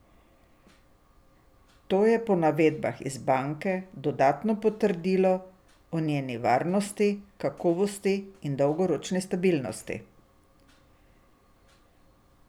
To je po navedbah iz banke dodatno potrdilo o njeni varnosti, kakovosti in dolgoročni stabilnosti.